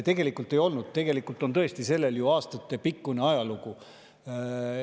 Tegelikult ei olnud, tegelikult on sellel tõesti ju aastatepikkune ajalugu.